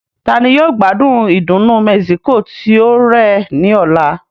Ta ni yóò gbádùn ìdùnnú Mexico tí ó rẹ̀ ní ọ̀la?